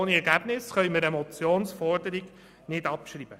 Ohne Ergebnisse können wir eine Motionsforderung nicht abschreiben.